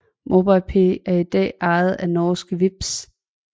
MobilePay er i dag ejet af norske Vipps